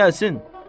Söylə gəlsin.